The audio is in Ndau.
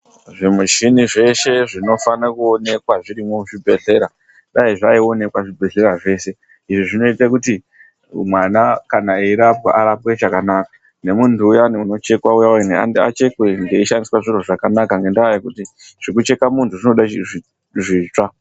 Zvimushini zveshe zvinofana kuonekwa zvirimo muzvibhedhlera dai zvaioneka muzvibhedhlera zvese izvi zvinoita kuti mwana Arapwe zvakanaka nemuntu uya unochekwa achekwe achishandiswa zvakanaka ngenda yekuti zvinocheka muntu zvoda zvitsva.